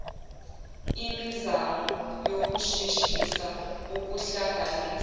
imizamo yokusheshisa ukuhlanganisa